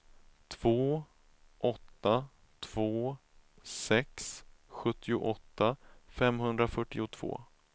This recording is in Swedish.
två åtta två sex sjuttioåtta femhundrafyrtiotvå